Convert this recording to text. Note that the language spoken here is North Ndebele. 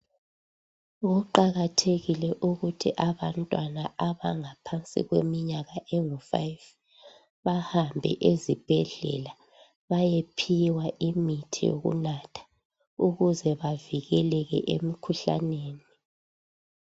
Kuqakathekile ukuthi abantwana abangaphandi kweminyaka engu5 bahambe ezibhedlela bayephiwa imithi yokunatha ukuze bavikeleke emikhuhlaneni.